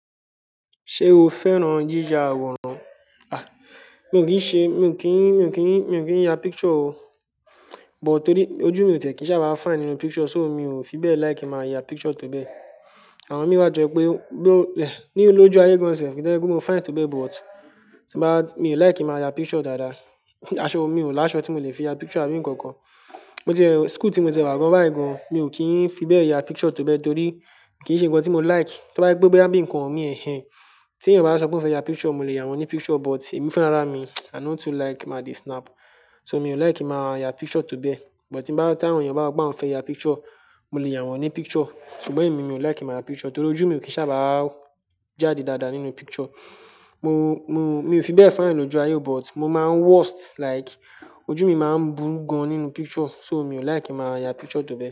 Ṣé o fẹ́ràn yíya àwòrán? A! Mi ò kí ń ṣe, mi ò kí ń, mi ò kí ń, mi ò kí ń ya picture o. But torí ojú mi ò tẹ̀ kí ń sábà fine nínú picture, so mi ò fi bẹ́ẹ̀ like máa ya picture tó bẹ́. Àwọn mi wá to jẹ́ pé bí ó lẹ̀, ni lójú ayé gan sẹ̀, kí íse pe mo fine tó bẹ́ but, tí bá, mi ò like ki n máa ya picture dáadáa. Aṣọ mi, mi ò láṣọ tí mo le fi ya picture àbí nǹkan kan. Mo e ti, school tí mo ti e wá gan báyìí gan, mi ò kí ń fi bẹ́ẹ̀ ya picture tó bẹ́ torí kì í ṣe nǹkan tí mo like. To bá je pe boya bíi nǹkan mi ẹ́hẹ́n. Tí ẹ̀yin bá sọ pé o fẹ́ ya picture, mo lè yàn wọ́n ní picture but èmi fún ara mi, I no too like ma de snap. So mi ò like máa ya picture tó bẹ́. But tí bá, tí àwọn èèyàn bá máa fẹ́ ya picture, mo lè yàn wọ́n ní picture. Ṣùgbọ́n èmi, mi ò like máa ya picture torí ojú mi ò kí sábà jáde dáadáa nínú picture. Mo, mo, mi o fi bẹ́ẹ̀ fine lójú ayé but mo máa worst like ojú mi máa ń burú gan nínú picture, so mi ò like ki n máa ya picture tó bẹ́